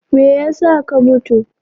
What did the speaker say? Me yasa ka mutu!